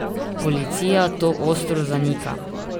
Policija to ostro zanika.